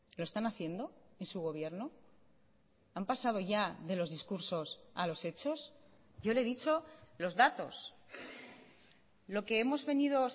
lo están haciendo y su gobierno han pasado ya de los discursos a los hechos yo le he dicho los datos lo que hemos venido